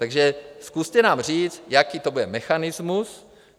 Takže zkuste nám říct, jaký to bude mechanismus.